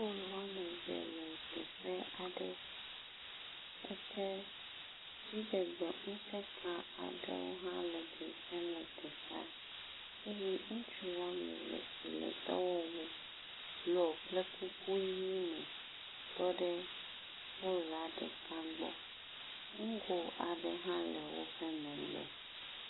Polu wome eve le teƒe aɖe. Edze dziɖegbeŋusẽ ka aɖe hã dzedzem le teƒea eye ŋutsu wome eve si le dɔwɔwu blɔ kple kuku ʋi me tɔ ɖe polua ɖeka gbɔ. Ŋgo aɖe hã le woƒe megbe.